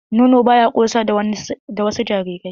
Nono ba ya ƙosa da wasu jarirai.